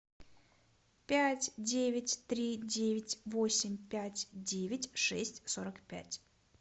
пять девять три девять восемь пять девять шесть сорок пять